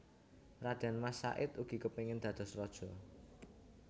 Radén Mas Said ugi kepingin dados raja